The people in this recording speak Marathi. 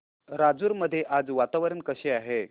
राजूर मध्ये आज वातावरण कसे आहे